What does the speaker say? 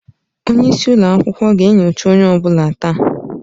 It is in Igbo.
Onye isi ụlọ akwụkwọ ga-enyocha onye ọ bụla taa.